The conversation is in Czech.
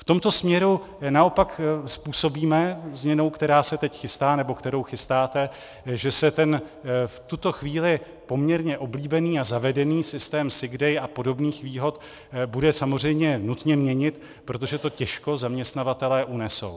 V tomto směru naopak způsobíme změnou, která se teď chystá, nebo kterou chystáte, že se ten v tuto chvíli poměrně oblíbený a zavedený systém sick day a podobných výhod bude samozřejmě nutně měnit, protože to těžko zaměstnavatelé unesou.